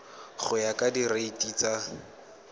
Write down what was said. go ya ka direiti tsa